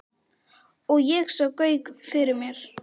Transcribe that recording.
Og ég sá Gauk fyrir mér.